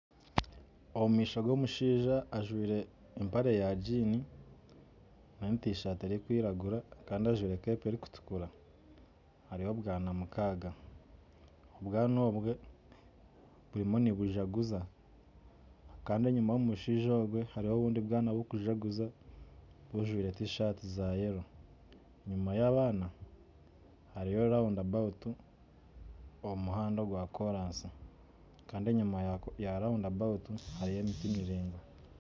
omu maisho g'omushaija ajwire empare ya giini hamwe na tisaati erikwiragura n'enkofiira erikutukura hariho n'abaana mukaaga bariyo nibazaguza kandi enyima y'omushaija ogwo hariyo abandi baana barikuzaguza bajwire tisaati ya kineekye kandi enyima y'abaana hariyo raunda abawutu omu muhanda ogwa koraasi kandi enyima yaayo hariyo emiti miringwa